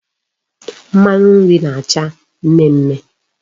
Mmanu nri na-acha mme mme